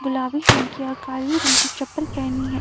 गुलाबी रंग की और काली रंग की चप्पल पेहनी है।